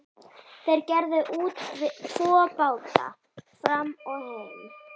Þeir gerðu út tvo báta, Fram og Heim.